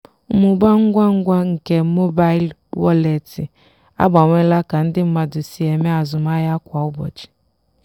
mmụba ngwa ngwa nke mobail wọleetị agbanweela ka ndị mmadụ si eme azụmahịa kwa ụbọchị